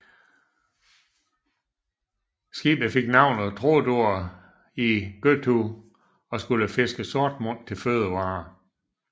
Skibet fik navnet Tróndur í Gøtu og skulle fiske sortmund til fødevarer